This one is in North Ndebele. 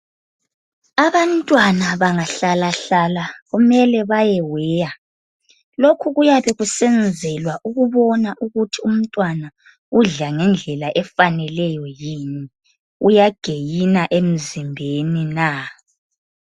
Abantwana banga hlala hlala kumele baye weya lokhu kuyabe kusenzelwa ukubona ukuthi umntwana udla ngendlela efaneleyo yini? uyagainer emzimbeni na.